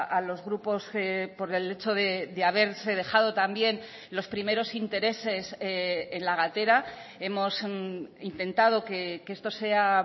a los grupos por el hecho de haberse dejado también los primeros intereses en la gatera hemos intentado que esto sea